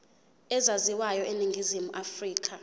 ezaziwayo eningizimu afrika